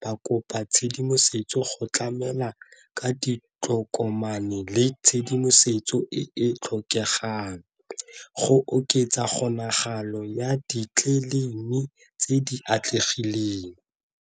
ba kopa tshedimosetso go tlamela ka ditokomane le tshedimosetso e e tlhokegang go oketsa kgonagalo ya di tse di atlegileng.